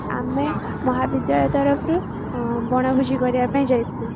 ଆମେ ମହାବିଦ୍ୟାଳୟ ତରଫରୁ ବଣଭୋଜି କରିବାପାଇଁ ଯାଇଥିଲୁ